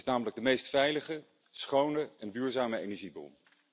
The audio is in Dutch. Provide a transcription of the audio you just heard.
Het is namelijk de meest veilige, schone en duurzame energiebron.